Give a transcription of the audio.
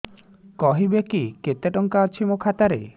କହିବେକି କେତେ ଟଙ୍କା ଅଛି ମୋ ଖାତା ରେ